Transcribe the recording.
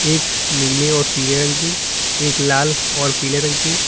एक नीले और पीले रंग की एक लाल और पीले रंग की--